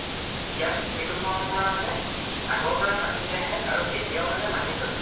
ইয়াত সেইটো পৰম্পৰা মানে আগৰ পৰাই মানি আহে আৰু এতিয়াও মানে মানি চলে।